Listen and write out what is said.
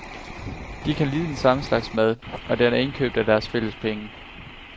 De kan lide den samme slags mad, og den er indkøbt af deres fælles penge.